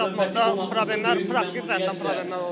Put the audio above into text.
İş tapmaqda problemlər praktik tərəfdən problemlər olur.